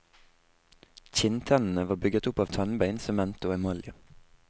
Kinntennene var bygget opp av tannbein, sement og emalje.